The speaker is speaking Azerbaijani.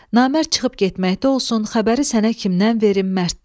Namərd çıxıb getməkdə olsun, xəbəri sənə kimdən verim, Mərddən.